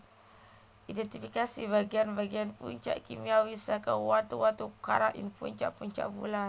Idhèntifikasi bagéan bagéan puncak kimiawi saka watu watu karang ing puncak puncak bulan